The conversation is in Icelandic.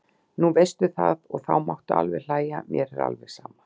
Nú veistu það og þú mátt alveg hlæja, mér er alveg sama.